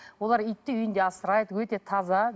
олар итті үйінде асырайды өте таза